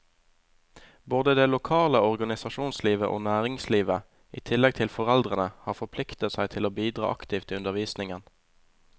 Både det lokale organisasjonslivet og næringslivet, i tillegg til foreldrene, har forpliktet seg til å bidra aktivt i undervisningen.